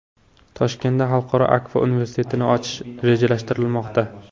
Toshkentda Xalqaro Akfa universitetini ochish rejalashtirilmoqda.